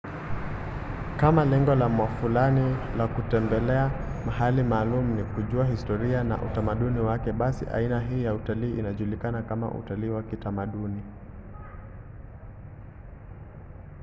kama lengo la mwafulani la kutembelea mahali maalum ni kujua historia na utamaduni wake basi aina hii ya utalii inajulikana kama utalii wa kitamaduni